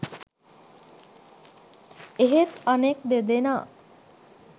එහෙත් අනෙක් දෙදෙනා